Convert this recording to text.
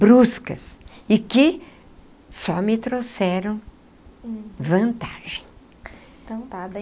bruscas e que só me trouxeram vantagem. Então tá